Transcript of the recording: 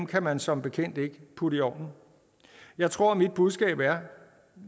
kan man som bekendt ikke putte i ovnen jeg tror mit budskab er